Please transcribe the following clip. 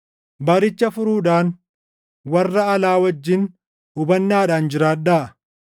Baricha furuudhaan warra alaa wajjin hubannaadhaan jiraadhaa.